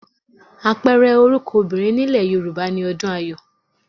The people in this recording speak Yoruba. Àpẹẹrẹ orúkọ obìnrin nílẹ̀ Yorùbá ni Ọdùnayọ̀